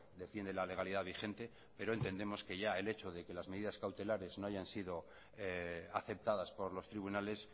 defiende la legalidad vigente pero entendemos que ya el hecho de que las medidas cautelares no hayan sido aceptadas por los tribunales